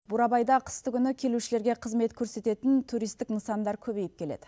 бурабайда қыстыкүні келушілерге қызмет көрсететін туристік нысандар көбейіп келеді